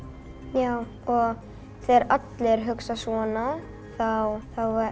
já og þegar allir hugsa svona þá